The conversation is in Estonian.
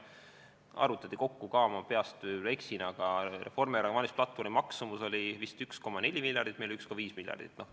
Ma peast öeldes võib-olla eksin, aga Reformierakonna valimisplatvormi maksumus oli vist 1,4 miljardit, meil oli 1,5 miljardit.